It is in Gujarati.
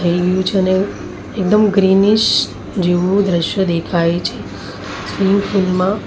થઈ ગયું છે અને એકદમ ગ્રીનીશ જેવું દ્રશ્ય દેખાય છે. સ્વિમિંગ પુલ માં--